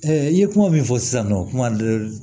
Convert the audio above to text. i ye kuma min fɔ sisan nɔ kuma dɔ